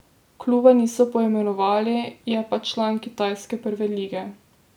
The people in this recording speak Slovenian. Kluba niso poimenovali, je pa član kitajske prve lige.